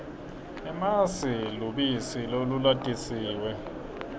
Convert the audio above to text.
emasi lubisi lolulatisiwe